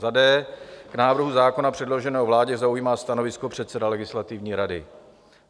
d) k návrhu zákona předloženému vládě zaujímá stanovisko předseda Legislativní rady.